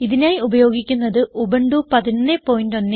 ഇതിനായി ഉപയോഗിക്കുന്നത് ഉബുന്റു 1110